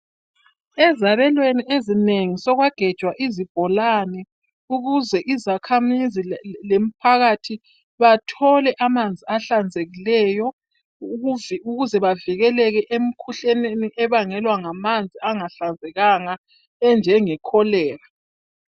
Ezabelweni ezinengi, sekwagejwa izibholane ukuze izakhamizi lemphakathi bathole amanzi ahlanzekileyo ukuze bavikeleke emkhuhlaneni ebangelwa ngamanzi angahlanzekanga enjengekholera.